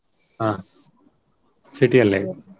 ಹಾ. city ಅಲ್ಲೇ.